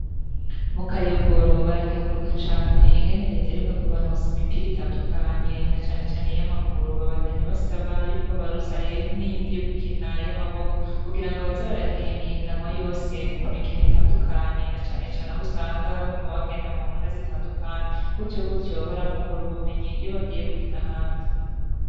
Mukayogora barakenguruka cane ingene reta iheruka kubarosa imipira itandukanye nacanecane iy'amaguru. Babandanya basaba yuko bobarosa rero n'iyindi yogukina y'amaboko kugirango baze baragira imihaganwa yose kumikino itandukanye nacanecane ahusanga baguma bagenda muntara zitandukanye gutyogutyo barahungurira ubumenyi iyo bagiye gukina ahandi.